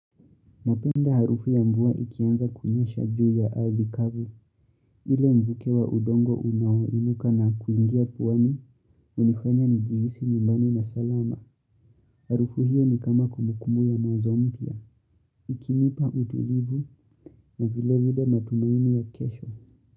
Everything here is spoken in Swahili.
Ninapenda harufu ya mvua ikianza kunyesha juu ya ardhi kavu. Ule mvuke wa udongo unaoinuka na kuingia puani, hunifanya njihisi nyumbani na salama. Harufu hiyo ni kama kumbukumbu ya mwanzo mpya. Ikinipa utulivu na vile vile matumaini ya kesho.